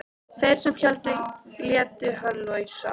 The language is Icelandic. Þeir sem héldu létu hann lausan.